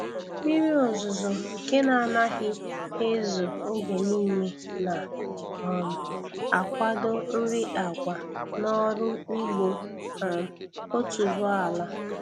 Mmiri ozuzo nke na anaghị ezo oge nile na- um akwado nri agwa n'ọrụ ugbo um otuboala